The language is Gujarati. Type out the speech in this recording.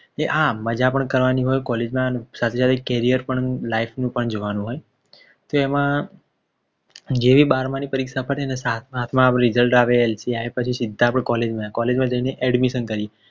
કે હા મજા પણ કરવાની હોય College માં સાથે સાથે carrier પણ life નું પણ જોવાનું હોય તો એમાં જેવી બરમાની પરીક્ષા પતે એટલે Result આવે LC આવે પછી આપણે સીધા College માં College માં જઈને Admission કરીએ